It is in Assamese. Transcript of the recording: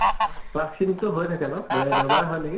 class খিনি তো হৈয়ে থাকে ন? ৱে দেওবাৰেহয় নেকি ?